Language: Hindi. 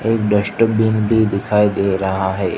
एक डस्टबीन भी दिखाई दे रहा है।